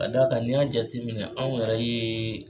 ka d'a kan n'i y'a jateminɛ anw yɛrɛ ye